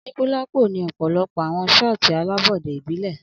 Anikulapo ni ọpọlọpọ awọn shoti alabọde ibile